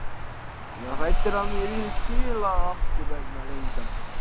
Ég var hræddur um að mér yrði skilað aftur vegna leyndra galla.